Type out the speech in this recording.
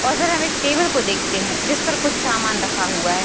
और फिर हम एक टेबल को देखते हैं जिस पर कुछ सामान रखा हुआ है।